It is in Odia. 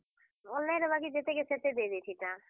Online ରେ ବାକି ଯେତେ କେ ସେତେ ଦେଇଦେଇ ଥିତାଁ।